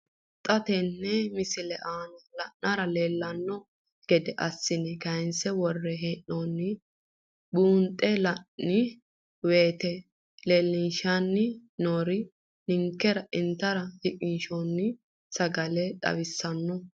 Xa tenne missile aana la'nara leellanno gede assine kayiinse worre hee'noonniri buunxe la'nanni woyiite leellishshanni noori ninkera intara shiqinsoonni sagale xawissanno.